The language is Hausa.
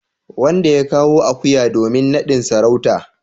wanda ya kawo akuya domin nadin sarauta.